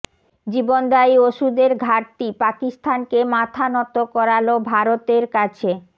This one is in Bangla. জীবনদায়ী ওষুধের ঘাটতি পাকিস্তানকে মাথা নত করালো ভারতের কাছে